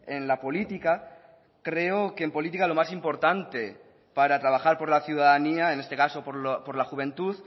en la política creo que en política lo más importante para trabajar por la ciudadanía en este caso por la juventud